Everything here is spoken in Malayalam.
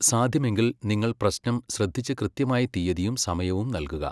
സാധ്യമെങ്കിൽ, നിങ്ങൾ പ്രശ്നം ശ്രദ്ധിച്ച് കൃത്യമായ തീയ്യതിയും സമയവും നൽകുക.